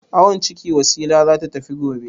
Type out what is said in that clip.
Awon ciki Wasila za ta tafi gobe.